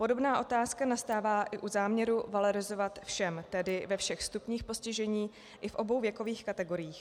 Podobná otázka nastává i u záměru valorizovat všem, tedy ve všech stupních postižení i v obou věkových kategoriích.